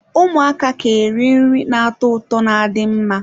Ụmụaka ka iri nri na-atọ ụtọ na adị mma.